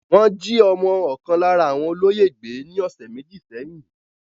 Wọ́n jí ọmọ ọkàn lára àwọn olóyè gbé ní ọ̀sẹ̀ méjì sẹ́yìn.